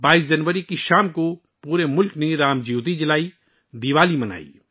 22 جنوری کی شام کو پورے ملک نے رام جیوتی جلائی اور دیوالی منائی